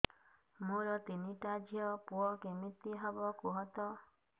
ମୋର ତିନିଟା ଝିଅ ପୁଅ କେମିତି ହବ କୁହତ